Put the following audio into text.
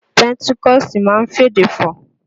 Pẹńtíkọ̀sì máa ń f'èdè fọ̀